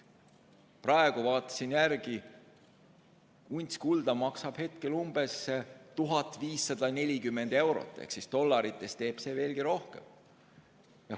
Vaatasin järele, et unts kulda maksab praegu umbes 1540 eurot, dollarites on see arv veelgi suurem.